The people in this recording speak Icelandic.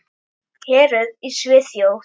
Héruð í Svíþjóð